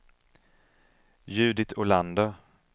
Judit Olander